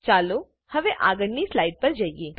ચાલો હવે આગળની સ્લાઈડ પર જઈએ